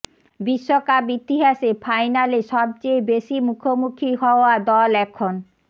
বিশ্বকাপ ইতিহাসে ফাইনালে সবচেয়ে বেশি মুখোমুখি হওয়া দল এখন